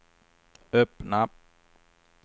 öppna